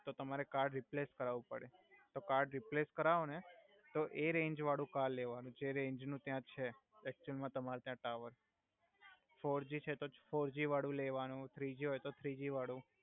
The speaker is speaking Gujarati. તો તમારે કાર્ડ રિપ્લેસ કરાવુ પડે તો કાર્ડ રિપ્લેસ કરાવો ને તો એ રેંજ વાડુ કર્ડ લેવાનુ જે રેંજ નુ ત્યા છે એક્ત્યુઅલ મા તમારે ત્યા ટાવર ફોરજી છે તો ફોરજી વાડુ લેવાનુ થ્રિજી હોય તો થ્રિજી વાડુ